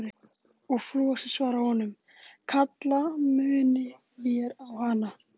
Og Flosi svarar honum: Kalla munum vér á hana.